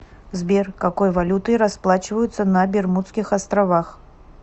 сбер какой валютой расплачиваются на бермудских островах